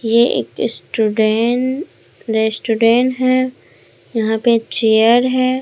ये एक student restaurant है यहां पे चेयर है।